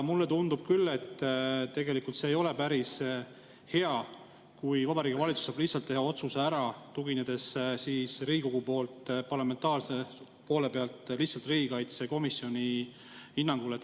Mulle tundub küll, et see ei ole päris hea, kui Vabariigi Valitsus saab lihtsalt teha otsuse ära, tuginedes Riigikogu poolt, parlamentaarse poole pealt lihtsalt riigikaitsekomisjoni hinnangule.